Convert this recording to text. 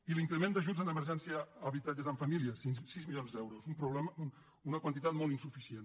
i l’increment d’ajuts en emergència a habitatges amb família sis milions d’euros una quantitat molt insuficient